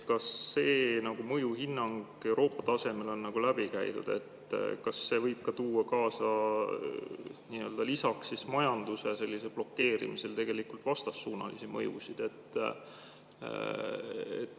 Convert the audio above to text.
Kas see mõjuhinnang Euroopa tasemel on läbi käidud, kas see võib tuua kaasa lisaks majanduse blokeerimisele vastassuunalisi mõjusid?